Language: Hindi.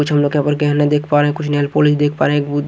कुछ हम गहना देख पा रहे है कुछ नेल पोलिश देख पा रहे है गू --